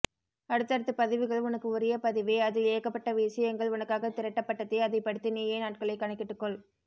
அடுத்தடுத்து பதிவுகள் உனக்கு உரிய பதிவே அதில் ஏகப்பட்ட விசயங்கள் உனக்காக திரட்டப்பட்டதே அதை படித்து நீயே நாட்களை கணக்கிட்டுக்கொள்